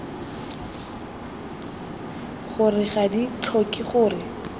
gore ga di tlhoke gore